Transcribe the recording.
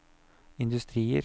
industrier